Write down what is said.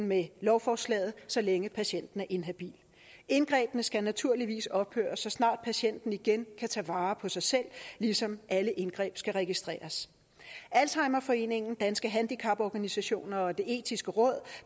med lovforslaget så længe patienten er inhabil indgrebene skal naturligvis ophøre så snart patienten igen kan tage vare på sig selv ligesom alle indgreb skal registreres alzheimerforeningen danske handicaporganisationer og det etiske råd